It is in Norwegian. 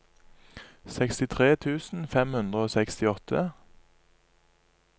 sekstitre tusen fem hundre og sekstiåtte